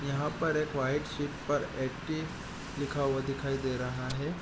यहां पर एक व्हाइट सीट पर एट्टी लिखा हुआ दिखाई दे रहा है।